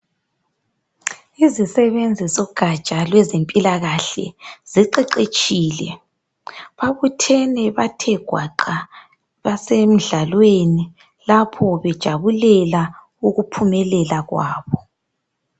Izisebenzi zogatsha lwezempilakahle ziqeqetshile babuthene bathe gwaqa basemdlalweni lapho bejabulela ukuphumelela kwabo.